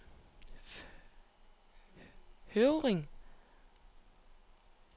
Høvringen